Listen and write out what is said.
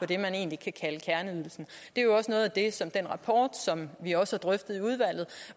det man egentlig kan kalde kerneydelsen det er også noget af det som den rapport som vi også drøftede i udvalget